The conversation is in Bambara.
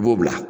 I b'o bila